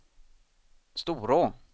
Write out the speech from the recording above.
Storå